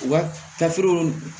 U ka tafew